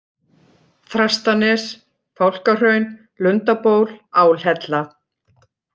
Þrastanes, Fálkahraun, Lundaból, Álhella